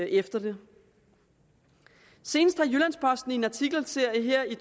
efter det senest har jyllands posten i en artikelserie her i